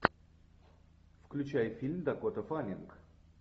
включай фильм дакота фаннинг